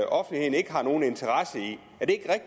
offentligheden ikke har nogen interesse i